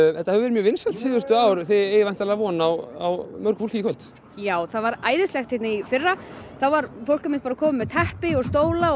þetta hefur verið vinsælt síðustu ár og þið eigið von á mörgum í kvöld já þetta var æðislegt í fyrra fólk kom með teppi og stóla og